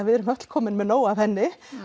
við erum öll komin með nóg af henni